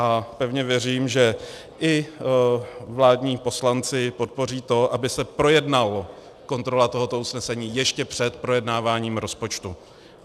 A pevně věřím, že i vládní poslanci podpoří to, aby se projednala kontrola tohoto usnesení ještě před projednáváním rozpočtu.